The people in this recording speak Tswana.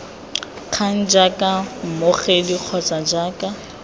kgang jaaka mmogedi kgotsa jaaka